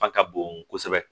Fa ka bon kosɛbɛ